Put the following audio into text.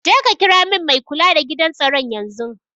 Jeka kira min mai kula da gidan tsaron yanzun.